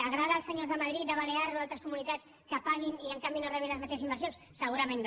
agrada als senyors de madrid de les balears o d’altres comunitats que paguin i en canvi no rebin les mateixes inversions segurament no